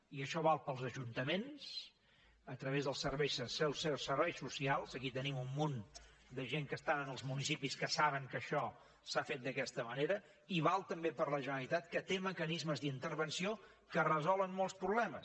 i això val pels ajuntaments a través dels serveis socials aquí tenim un munt de gent que estan en els municipis i que saben que això s’ha fet d’aquesta manera i val també per la generalitat que té mecanismes d’intervenció que resolen molts problemes